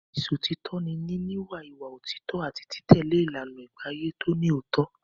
Ìṣọ̀títọ́ ni níní ìwà òtítọ́ àti títẹ̀lé ìlànà ìgbéàyé tó ní òótọ́.